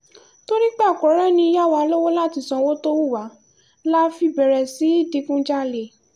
torí pé a kò rẹ́ni yá wa lọ́wọ́ láti ṣọ́wó tó wù wá la fi bẹ̀rẹ̀ sí í digunjalè